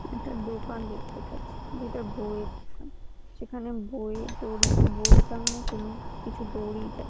একটা দোকান দেখতে পাচ্ছি যেটা বইয়ের দোকান সেখানে বই দড়ি বই টাঙ্গানোর জন্য কিছু দড়ি টা--